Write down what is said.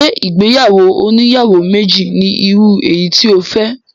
Ṣé ìgbéyàwó oníyàwó méjì ni irú eyi tí o fẹ́?